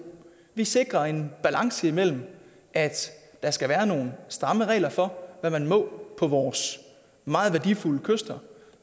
vi sikrer en balance imellem at der skal være nogle stramme regler for hvad man må på vores meget værdifulde kyster